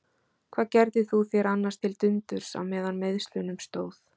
Hvað gerðir þú þér annars til dundurs á meðan á meiðslunum stóð?